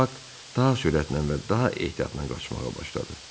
Bak daha sürətlə və daha ehtiyatla qaçmağa başladı.